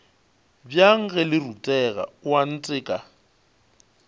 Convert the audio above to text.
bjang ge le rutega oanteka